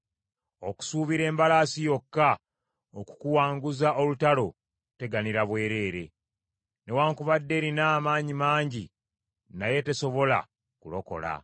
Okusuubira embalaasi yokka okukuwanguza olutalo kuteganira bwerere; newaakubadde erina amaanyi mangi naye tesobola kulokola.